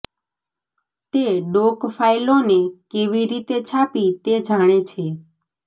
તે ડોક ફાઇલોને કેવી રીતે છાપી તે જાણે છે